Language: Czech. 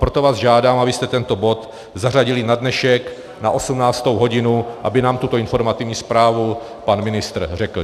Proto vás žádám, abyste tento bod zařadili na dnešek na 18. hodinu, aby nám tuto informativní zprávu pan ministr řekl.